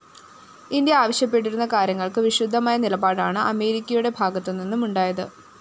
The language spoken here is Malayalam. ഇന്ത്യ ആവശ്യപ്പെട്ടിരുന്ന കാര്യങ്ങള്‍ക്ക്‌ വിരുദ്ധമായ നിലപാടാണ്‌ അമേരിക്കയുടെ ഭാഗത്തുനിന്നും ഉണ്ടായത്‌